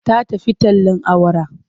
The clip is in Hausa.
Ta tafi tallen awara.